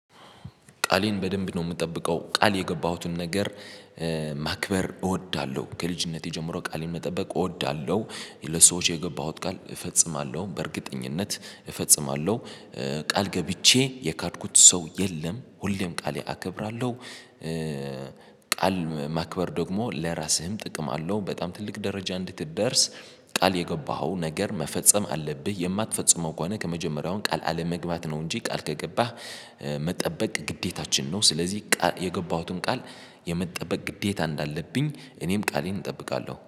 ቃሌን በደንብ ነው የምጠብቀው ቃል የገባሁትን ነገር ማክበር እወዳለሁ ከልጅነቴ ጀምሮ ቃሌን መጠበቅ እወዳለሁ። ለሰዎች የገባሁት ቃል እፈጽማለሁ በእርግጠኝነት እፈጽማለሁ ቃል ገብቼ የካድኩት ሰው የለም ሁሌም ቃሌ አከብራለሁ። ቃል ማክበር ደግሞ ለራስህም ጥቅም አለው። በጣም ትልቅ ደረጃ እንድትደርስ ቃል የገባኸው ነገር መፈጸም አለብህ። የማትፈጽመው ከሆነ ከመጀመሪያውም ቃል አለመግባት ነው። እንጂ ቃል ከገባህ መጠበቅ ግዴታችን ነው። ስለዚህ የገባሁትን ቃል የመጠበቅ ግዴታ እንዳለብኝ እኔም ቃሌን እጠብቃለሁ